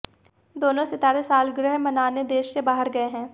दोनों सितारे सालगिरह मनाने देश से बाहर गए हैं